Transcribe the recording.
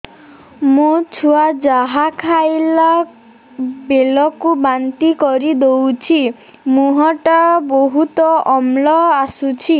ମୋ ଛୁଆ ଯାହା ଖାଇଲା ବେଳକୁ ବାନ୍ତି କରିଦଉଛି ମୁହଁ ଟା ବହୁତ ଅମ୍ଳ ବାସୁଛି